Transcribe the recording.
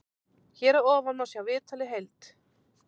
Hér að ofan má sjá viðtalið heild.